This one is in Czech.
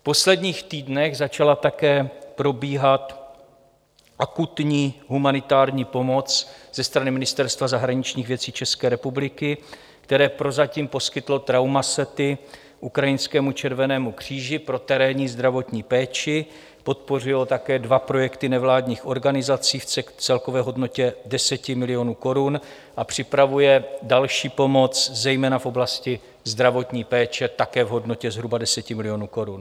V posledních týdnech začala také probíhat akutní humanitární pomoc ze strany Ministerstva zahraničních věcí České republiky, které prozatím poskytlo traumasety ukrajinskému Červenému kříži pro terénní zdravotní péči, podpořilo také dva projekty nevládních organizací v celkové hodnotě 10 milionů korun a připravuje další pomoc, zejména v oblasti zdravotní péče, také v hodnotě zhruba 10 milionů korun.